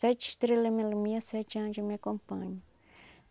Sete estrela me ilumina, sete anjo me acompanham.